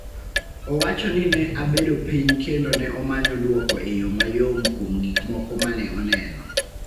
Owacho ni ne abedo piny kendo ne omanyo dwoko e yo mayom kuom gik moko ma ne oneno.